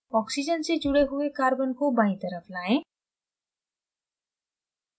oxygens से जुड़े हुए carbon को बायीं तरफ लाएं